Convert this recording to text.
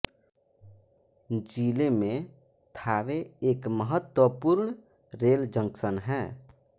जिले में थावे एक महत्वपूर्ण रेल जंक्शन है